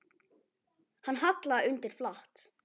Hann hallaði undir flatt.